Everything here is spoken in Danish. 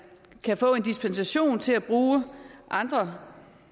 kan få en dispensation til at bruge andre